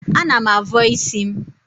Ana m avọ isi m.